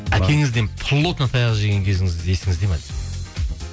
әкеңізден плотно таяқ жеген кезіңіз есіңізде ме дейді